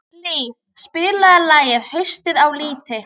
Hlíf, spilaðu lagið „Haustið á liti“.